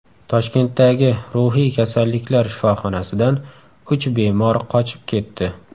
Toshkentdagi ruhiy kasalliklar shifoxonasidan uch bemor qochib ketdi.